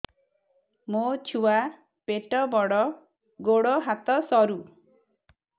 ମୋ ଛୁଆ ପେଟ ବଡ଼ ଗୋଡ଼ ହାତ ସରୁ